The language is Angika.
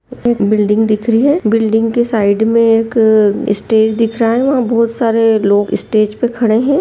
बिल्डिंग दिख रही है बिल्डिंग के साइड में एक स्टेज दिख रहा है वहाँ बहुत सारे लोग स्टेज पर खड़े हैं।